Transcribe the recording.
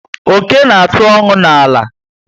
Oké na atụ ọṅụ na àlà